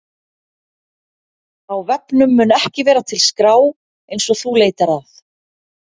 Á vefnum mun ekki vera til skrá eins og þú leitar að.